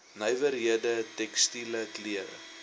nywerhede tekstiele klere